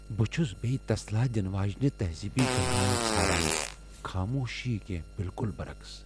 بہٕ چُھس بیہِ تسلا دِنہٕ واجینہِ تہذیبی گنٛگرایہ ژھاران خاموش کینٛہہ بِلکل برعکس۔